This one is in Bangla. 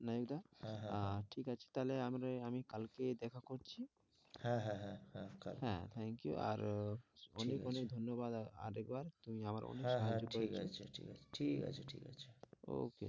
নায়েক দা আহ হ্যাঁ, হ্যাঁ, হ্যাঁ ঠিক আছে তা হলে আম আমি কালকেই দেখা করছি হ্যাঁ, হ্যাঁ, হ্যাঁ, হ্যাঁ কালকেই thank you আর আহ ঠিক আছে অনেক অনেক ধন্যবাদ আর আরেকবার হ্যাঁ হ্যাঁ ঠিক আছে তুমি আমার অনেক সাহায্য করেছো ঠিক আছে ঠিক আছে okay okay